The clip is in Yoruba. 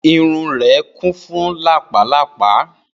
Irun rẹ ti kun fun lápá lápá.